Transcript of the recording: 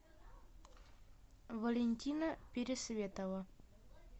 валентина пересветова